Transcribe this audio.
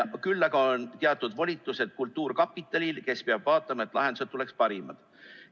Küll aga on teatud volitused kultuurkapitalil, kes peab vaatama, et lahendused oleksid parimad.